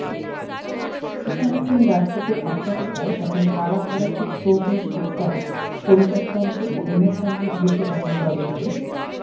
সুশান্ত সিং রাজপুতের আত্মহত্যায় যখন সারা ভারতের শোবিজ উত্তাল পরিবারতন্ত্র ও ইমেজতন্ত্রের বিরুদ্ধে তখন টলিউডে